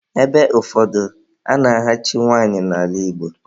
Ebe ụfọdụ, a na-ahachi nwanyị n'ala Igbo.